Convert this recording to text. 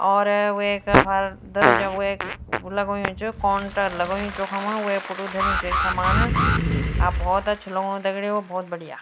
और वेका अफार दरोजा वेक लगोंयु च कौंटर लगोयूं च वखम वेक पुटुग धर्युं च एक सामान अ भौत अच्छु लगणू दगड़ियों भौत बढ़िया।